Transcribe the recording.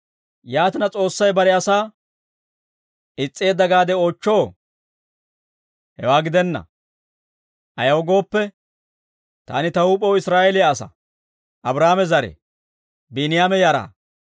Yaatina, S'oossay bare asaa is's'eedde gaade oochchoo? Hewaa gidenna; ayaw gooppe, taani ta huup'ew Israa'eeliyaa asaa; Abraahaame zare; Biiniyaama yaraa.